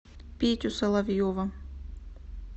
петю соловьева